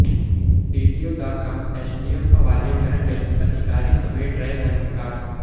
DTO ਦਾ ਕੰਮ SDM ਹਵਾਲੇ ਕਰਨ ਲਈ ਅਧਿਕਾਰੀ ਸਮੇਟ ਰਹੇ ਹਨ ਰਿਕਾਰਡ